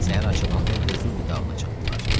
Səhər açılanda Vezuvi dağına çatdılar.